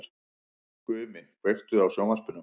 Gumi, kveiktu á sjónvarpinu.